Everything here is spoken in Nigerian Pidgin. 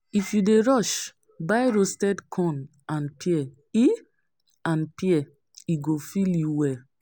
If you dey rush, buy roasted corn and pear, e go fill you well.